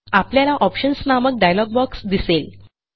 आपल्याला ऑप्शन्स नामक dialog box दिसेल